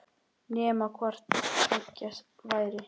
Nema hvort tveggja væri.